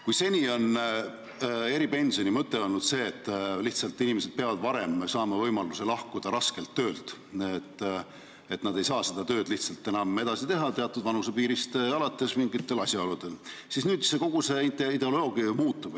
Kui seni on eripensioni mõte olnud see, et inimesed peavad saama võimaluse varem raskelt töölt lahkuda, sest nad lihtsalt ei saa teatud vanusepiirist alates seda tööd enam edasi teha mingitel asjaoludel, siis nüüd kogu see ideoloogia ju muutub.